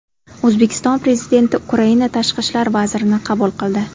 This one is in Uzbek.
O‘zbekiston Prezidenti Ukraina tashqi ishlar vazirini qabul qildi.